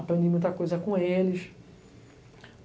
Aprendi muita coisa com eles.